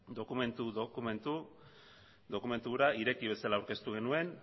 dokumentu hura ireki bezala aurkeztu genuen